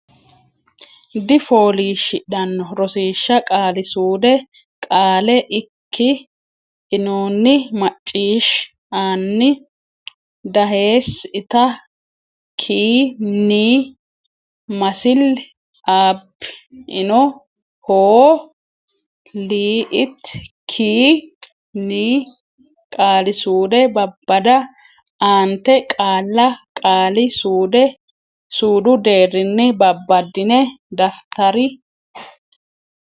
difooliishshidhanno Rosiishsha Qaali suude Qaale ikk inoonni macciishsh anno daheess itta kki nni masill aabb ino hoo l itt kki nni Qaali suude Babbada Aante qaalla qaali suudu deerrinni babbaddine daftari.